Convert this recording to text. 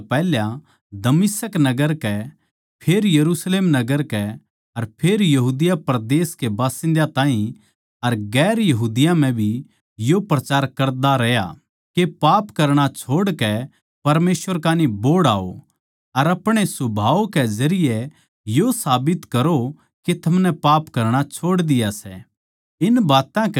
मन्नै सबतै पैहल्या दमिश्क नगर कै फेर यरुशलेम नगर कै अर फेर यहूदिया परदेस के बासिन्दा ताहीं अर दुसरी जात्तां म्ह भी यो प्रचार करता रहया के पाप करणा छोड़कै परमेसवर कान्ही बोहड़ आओ अर अपणे सुभाव के जरिये यो साबित करो के थमनै पाप करणा छोड़ दिया सै